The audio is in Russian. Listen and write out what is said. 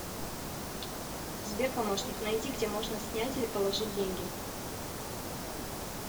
сбер помощник найди где можно снять или положить деньги